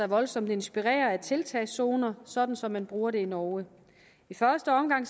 voldsomt inspirere af at indføre tiltagszoner sådan som man bruger det i norge i første omgang